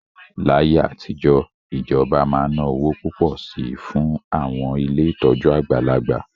Láyé àtijọ́, ìjọba máa ń ná owó púpọ̀ sí i fún àwọn ilé ìtọ́jú àgbàlagbà